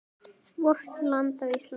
VORT LAND ÍSLAND